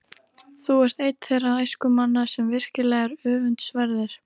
Þú ert einn þeirra æskumanna, sem virkilega eru öfundsverðir.